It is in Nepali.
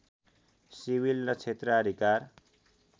सिविल ल क्षेत्राधिकार